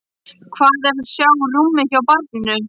Hvað er að sjá rúmið hjá barninu?